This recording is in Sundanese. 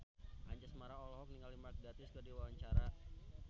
Anjasmara olohok ningali Mark Gatiss keur diwawancara